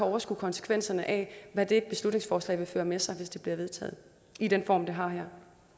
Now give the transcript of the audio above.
overskue konsekvenserne af hvad det beslutningsforslag vil føre med sig hvis det bliver vedtaget i den form det har